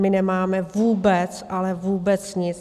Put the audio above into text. My nemáme vůbec, ale vůbec nic.